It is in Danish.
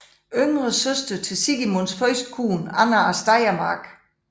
Yngre søster til Sigismunds første kone Anna af Steiermark